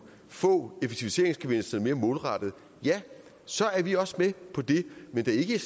få effektiviseringsgevinsterne mere målrettet ja så er vi også med på det men ikke i